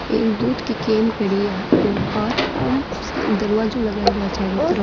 एक दूध की केन पड़ी हैऔर कांच को दरवाजो लगायोडो है चारो तरफ।